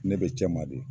Ne be cɛman de